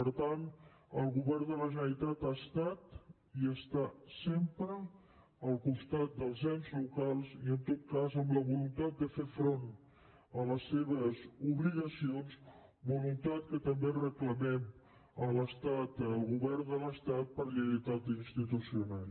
per tant el govern de la generalitat ha estat i està sempre al costat dels ens locals i en tot cas amb la voluntat de fer front a les seves obligacions voluntat que també reclamem a l’estat al govern de l’estat per lleialtat institucional